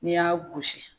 N'i y'a gosi